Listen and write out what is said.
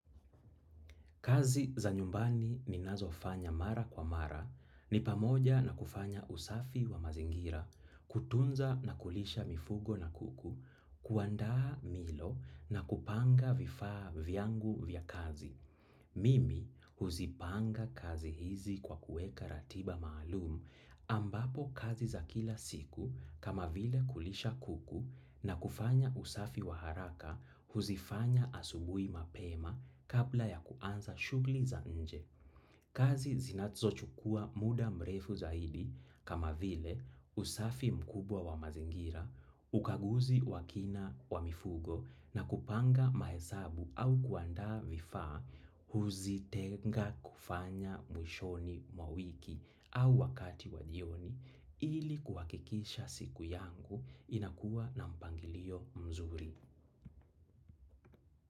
Kazi za nyumbani ninazofanya mara kwa mara, ni pamoja na kufanya usafi wa mazingira, kutunza na kulisha mifugo na kuku, kuandaa milo na kupanga vifaa vyangu vya kazi. Mimi huzipanga kazi hizi kwa kuweka ratiba maalum, ambapo kazi za kila siku kama vile kulisha kuku na kufanya usafi wa haraka, huzifanya asubuhi mapema kabla ya kuanza shugli za nje. Kazi zinatzo chukua mda mrefu zaidi kama vile usafi mkubwa wa mazingira, ukaguzi wa kina wa mifugo na kupanga mahesabu au kuandaa vifaa, huzitenga kufanya mwishoni mwa wiki au wakati wa jioni ili kuhakikisha siku yangu inakuwa na mpangilio mzuri.